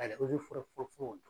ozeforɛ fɔrɔfɔrɔ.